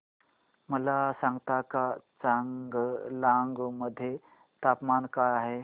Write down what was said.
मला सांगता का चांगलांग मध्ये तापमान काय आहे